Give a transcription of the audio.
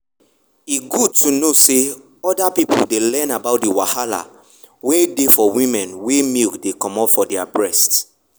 e good to know say other people dey learn about the wahala wen dey for women wey milk dey comot for their breast.